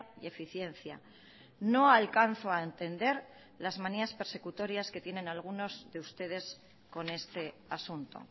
y eficiencia no alcanzo a entender las manías persecutorias que tienen algunos de ustedes con este asunto